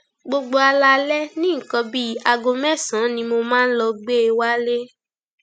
gbogbo alaalẹ ní nǹkan bíi aago mẹsànán ni mo máa ń lọọ gbé e wálé